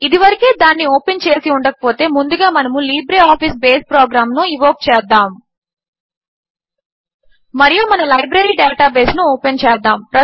ఇదివరకే దానిని ఓపెన్ చేసి ఉండకపోతే ముందుగా మనము లిబ్రేఆఫీస్ బేస్ ప్రోగ్రాంను ఇన్వోక్ చేద్దాము మరియు మన లైబ్రరీ డేటాబేస్ను ఓపెన్ చేద్దాము